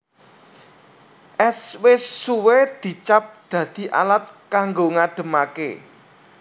Ès wis suwe dicap dadi alat kanggo ngademaké